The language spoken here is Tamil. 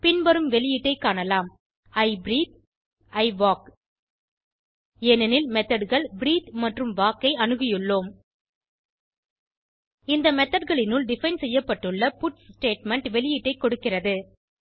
பின்வரும் வெளியீட்டை காணலாம் இ பிரீத்தே இ வால்க் ஏனெனில் methodகள் பிரீத்தே மற்றும் வால்க் ஐ அணுகியுள்ளோம் இந்த methodகளினுள் டிஃபைன் செய்யப்பட்டுள்ள பட்ஸ் ஸ்டேட்மெண்ட் வெளியீட்டை கொடுக்கிறது